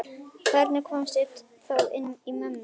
Hvernig komst ég þá inn í mömmu?